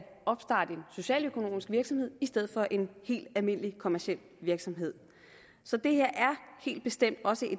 socialøkonomisk virksomhed i stedet for en helt almindelig kommerciel virksomhed så det her er helt bestemt også